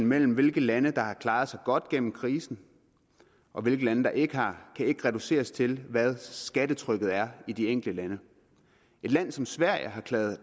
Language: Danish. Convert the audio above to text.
mellem hvilke lande der har klaret sig godt gennem krisen og hvilke lande der ikke har kan ikke reduceres til hvad skattetrykket er i de enkelte lande et land som sverige har klaret